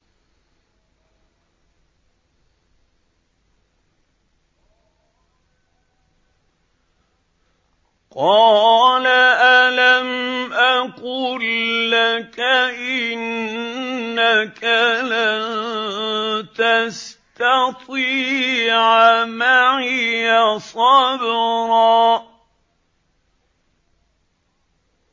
۞ قَالَ أَلَمْ أَقُل لَّكَ إِنَّكَ لَن تَسْتَطِيعَ مَعِيَ صَبْرًا